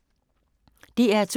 DR2